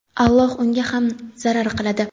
Alloh unga ham zarar qiladi.